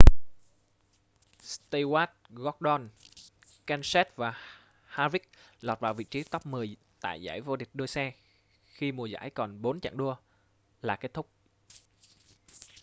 stewart gordon kenseth và harvick lọt vào vị trí top mười tại giải vô địch đua xe khi mùa giải còn bốn chặng đua là kết thúc